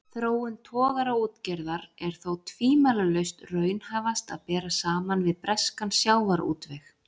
Þróun togaraútgerðar er þó tvímælalaust raunhæfast að bera saman við breskan sjávarútveg.